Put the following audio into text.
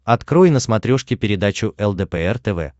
открой на смотрешке передачу лдпр тв